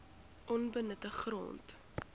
onbenutte grond